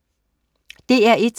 DR1: